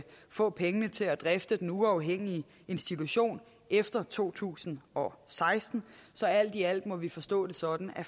få pengene til at drifte den uafhængige institution efter to tusind og seksten så alt i alt må vi forstå det sådan at